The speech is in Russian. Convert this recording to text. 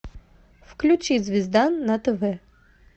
включи звезда на тв